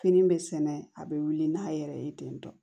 Fini bɛ sɛnɛ a bɛ wuli n'a yɛrɛ ye ten tɔ